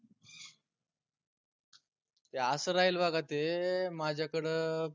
ते आस राहील बघा ते माझ्याकडं